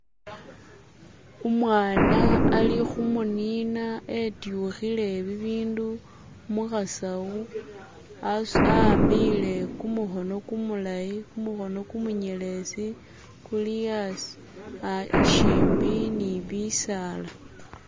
umwana ali humunina etyuhile bindu muhasawo awambile kumuhono kumulayi muhono kumunyelezi kuli asi shimbi nibisaala